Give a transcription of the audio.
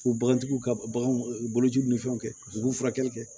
U bagantigiw ka baganw u bolociw ni fɛnw kɛ u b'u furakɛli kɛ